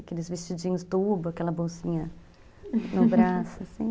Aqueles vestidinhos tubo, aquela bolsinha no braço, assim...